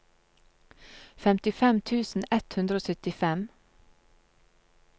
femtifem tusen ett hundre og syttifem